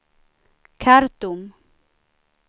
Khartoum